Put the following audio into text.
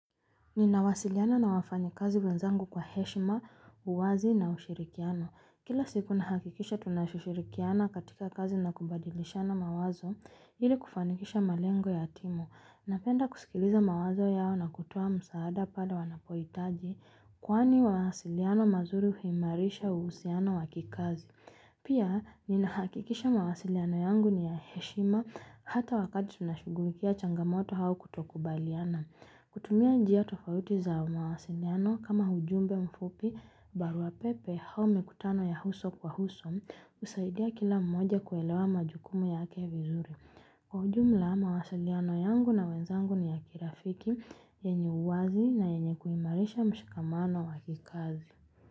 Ninawasiliana na wafanyakazi wenzangu kwa heshima, uwazi na ushirikiano. Kila siku nahakikisha tunashushirikiana katika kazi na kubadilishana mawazo hili kufanikisha malengo ya timu. Napenda kusikiliza mawazo yao na kutuwa msaada pada wanapoitaji kwani wasiliano mazuri huimarisha usiano wakikazi. Pia, ninahakikisha mawasiliano yangu ni ya heshima hata wakati tunashugulikia changamoto hao kutokubaliana. Kutumia njia tofauti za mawasiliano kama hujumbe mfupi barua pepe hao mekutano ya huso kwa huso usaidia kila mmoja kuelewa majukumu ya vizuri. Kujumla mawasiliano yangu na wenzangu ni ya kirafiki, yenye uwazi na yenye kuimarisha mshikamano wakikazi.